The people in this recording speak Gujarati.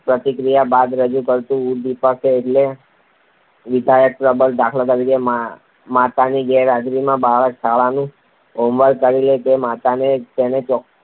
પ્રતિક્રિયા બાદ રજૂ કરાતું ઉદ્દીપક એટલે વિધાયક પ્રબલન. દા. ત. માતાની ગેરહાજરીમાં બાળક શાળાનું હોમવર્ક કરી લે તો માતા તેને ચોકલેટ